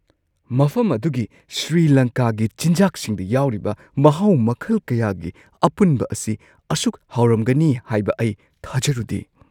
ꯃꯐꯝ ꯑꯗꯨꯒꯤ ꯁ꯭ꯔꯤꯂꯪꯀꯥꯒꯤ ꯆꯤꯟꯖꯥꯛꯁꯤꯡꯗ ꯌꯥꯎꯔꯤꯕ ꯃꯍꯥꯎ ꯃꯈꯜ ꯀꯌꯥꯒꯤ ꯑꯄꯨꯟꯕ ꯑꯁꯤ ꯑꯁꯨꯛ ꯍꯥꯎꯔꯝꯒꯅꯤ ꯍꯥꯏꯕ ꯑꯩ ꯊꯥꯖꯔꯨꯗꯦ ꯫